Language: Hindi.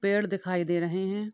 पेड़ दिखाई दे रहे हैं।